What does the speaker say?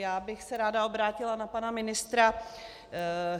Já bych se ráda obrátila na pana ministra.